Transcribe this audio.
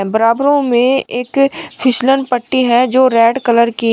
बराबर में एक फिसलन पट्टी है जो रेड कलर की।